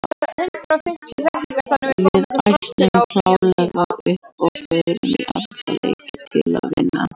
Við ætlum klárlega upp og förum í alla leiki til að vinna.